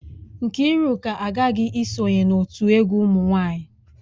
Nkiruka aghaghi isonye n'otu egwu umunwanyi.